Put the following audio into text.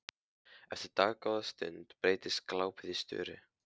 Eftir dágóða stund breytist glápið í störu.